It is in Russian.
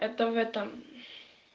это в этом